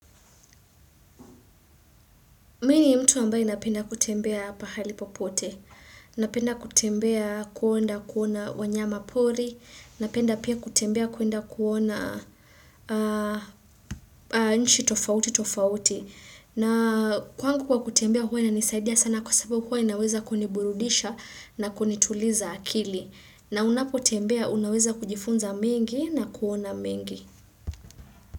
Mi ni mtu ambaye napenda kutembea pahali popote, napenda kutembea kuonda kuona wanyama pori, napenda pia kutembea kuenda kuona nchi tofauti tofauti, na kwangu kwa kutembea huwa inanisaidia sana kwa sababu huwa inaweza kuniburudisha na kunituliza akili, na unapotembea unaweza kujifunza mengi na kuona mengi.